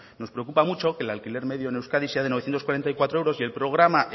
nos preocupa mucho que el alquiler medio en euskadi sea de novecientos cuarenta y cuatro euros y el programa